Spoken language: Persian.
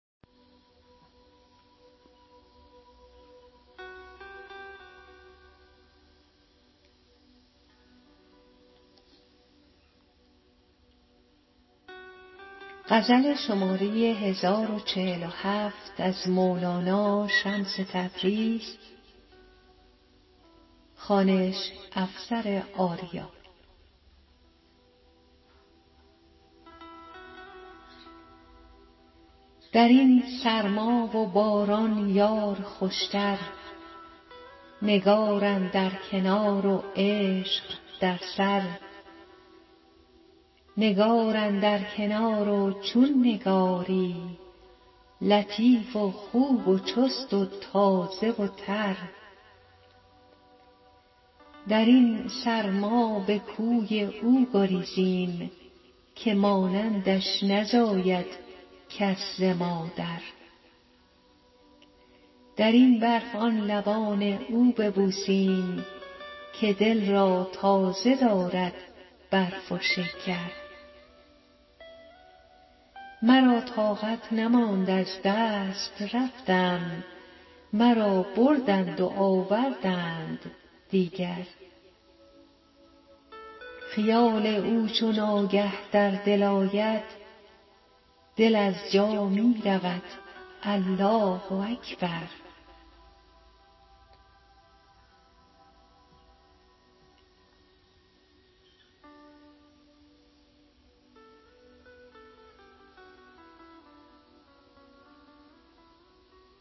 در این سرما و باران یار خوشتر نگار اندر کنار و عشق در سر نگار اندر کنار و چون نگاری لطیف و خوب و چست و تازه و تر در این سرما به کوی او گریزیم که مانندش نزاید کس ز مادر در این برف آن لبان او ببوسیم که دل را تازه دارد برف و شکر مرا طاقت نماند از دست رفتم مرا بردند و آوردند دیگر خیال او چو ناگه در دل آید دل از جا می رود الله اکبر